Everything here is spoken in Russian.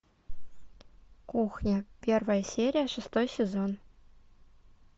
кухня первая серия шестой сезон